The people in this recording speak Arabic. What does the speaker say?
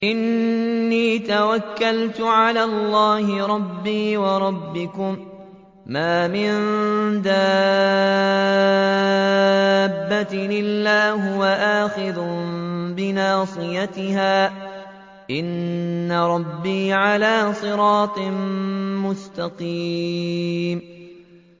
إِنِّي تَوَكَّلْتُ عَلَى اللَّهِ رَبِّي وَرَبِّكُم ۚ مَّا مِن دَابَّةٍ إِلَّا هُوَ آخِذٌ بِنَاصِيَتِهَا ۚ إِنَّ رَبِّي عَلَىٰ صِرَاطٍ مُّسْتَقِيمٍ